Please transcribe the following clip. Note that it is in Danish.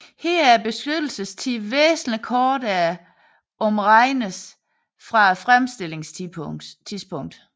Her er beskyttelsestiden væsentlig kortere om regnes fra fremstillingstidspunktet